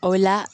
O la